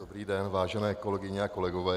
Dobrý den, vážené kolegyně a kolegové.